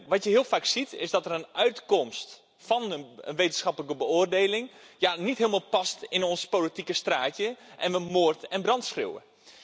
Wat je heel vaak ziet is dat een uitkomst van een wetenschappelijke beoordeling niet helemaal past in ons politieke straatje en we moord en brand schreeuwen.